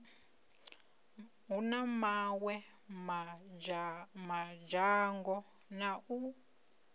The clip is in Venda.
na mawe madzhango na u